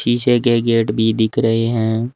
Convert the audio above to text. पीछे के गेट भी दिख रहे हैं।